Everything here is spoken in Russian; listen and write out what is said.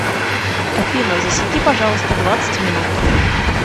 афина засеки пожалуйста двадцать минут